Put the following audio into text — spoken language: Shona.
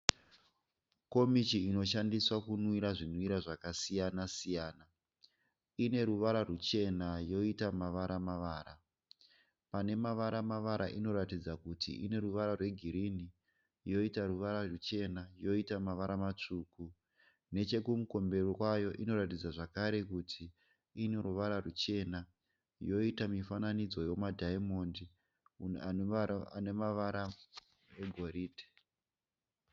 Komichi inoshandiswa kumwira zvinwira zvakasiyana siyana, ine ruvara ruchena yoita mavara mavara. Pane mavara mavara inoratidza kuti ine ruvara rwe green, yoita ruvara ruchena yoita mavara matsvuku. Nechokumberi kwayo inoratidza zvakare kuti ine ruvara ruchena yoita mifananidzo yomadiamond ane mavara eghoridhe.